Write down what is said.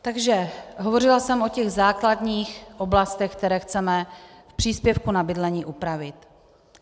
Takže hovořila jsem o těch základních oblastech, které chceme v příspěvku na bydlení upravit.